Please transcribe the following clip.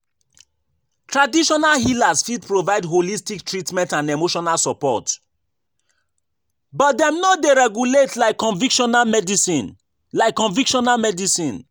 traditional healers fit provide holistic treatment and emotional support, but dem no dey regulate like convictional medicine. like convictional medicine.